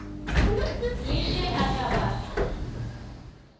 le ge a ka ba